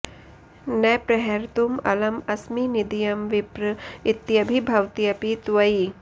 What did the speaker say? न प्रहर्तुं अलं अस्मि निदयं विप्र इत्यभिभवत्यपि त्वयि